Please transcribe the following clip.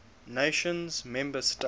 nations member states